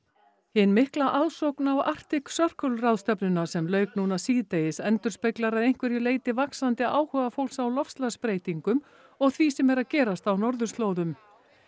hin mikla aðsókn á Arctic Circle ráðstefnuna sem lauk núna síðdegis endurspeglar að einhverju leyti vaxandi áhuga fólks á loftslagsbreytingum og því sem er að gerast á norðurslóðum